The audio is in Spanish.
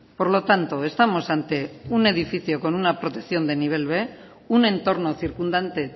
por lo tanto estamos ante un edificio con una protección de nivel b un entorno circundante